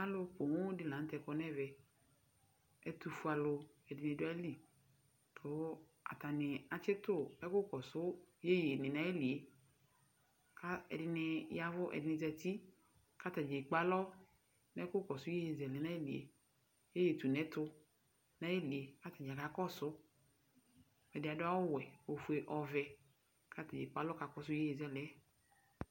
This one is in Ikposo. Alʋ pooo di la n'tɛ kɔ n'ɛvɛ Ɛtʋfue alʋ ɛdini du ayili kʋ atani atsitu ɛkʋ kɔsʋ yeyeni n'ayili yɛ ka ɛdini yavʋ, ɛdini zati k'atani ekp'alɔ n'ɛkʋ kɔsʋ yeye zɛlɛ n'ayili yɛ, yeye tun'ɛtʋ n'ayili yɛ k'atani kakɔsʋ Ɛdi adʋ awʋ wɛ, ofue, ɔvɛ k'at'ekp'alɔ k'akɔsʋ yeye zɛlɛ